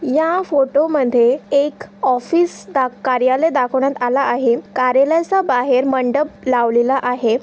या फोटो मध्ये एक ऑफिस दा- कार्यालय दाखवण्यात आला आहे कार्यालयाच्या बाहेर मंडप लावलेला आहे.